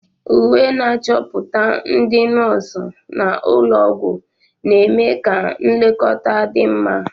Uwe na-achọpụta ndị nọọsụ nọ n'ụlọ ọgwụ, na-eme ka nlekọta dị mma.